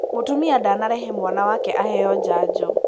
Mũtumia ndanarehe mwana wake aheo janjo.